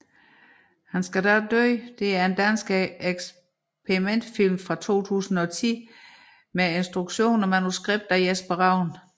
Han skal dog dø er en dansk eksperimentalfilm fra 2010 med instruktion og manuskript af Jesper Ravn